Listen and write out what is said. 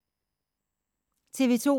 TV 2